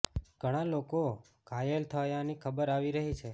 ઘણા લોકો ઘાયલ થયાની ખબર આવી રહી છે